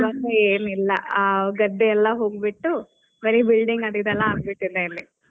ಇವಾಗ ಏನಿಲ್ಲ ಗದ್ದೆಯಲ್ಲ ಎಲ್ಲಾ ಹೋಗ್ಬಿಟ್ಟು ಬರೆ building ಅದ್ ಈದ್ ಎಲ್ಲಾ ಆಗ್ ಬಿಟ್ಟಿದೆ ಅಲ್ಲಿ.